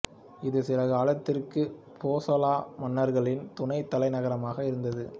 இது சில காலத்திற்கு போசள மன்னர்களின் துணை தலைநகராகவும் இருந்தது